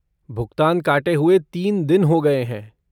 भुगतान काटे हुए तीन दिन हो गए हैं।